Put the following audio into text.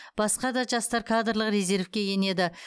басқа да жастар кадрлық резервке енеді